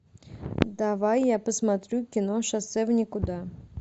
давай я посмотрю кино шоссе в никуда